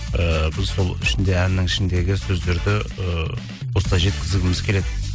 ыыы біз сол ішінде әннің ішіндегі сөздерді ыыы осылай жеткізгіміз келеді